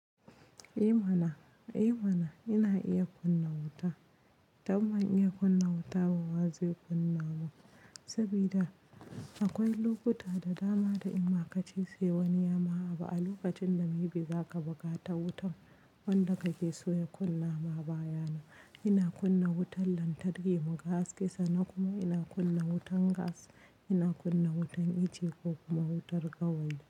Eh mana, Eh mana ina iya kunna wuta, don ban iya kunna wuta ba waze kunna ba, sabida akwai lokuta da dama da in ma kace sai wani yama abu a lokacin ne maybe zaka buƙatar wutan wanda kake so ya kunna ma baya nan. Ina kunna wutan lantarki mu ga haske san nan kuma ina kunna wutan gas, ina kunna wutan iche ko kuma wutar gawayi.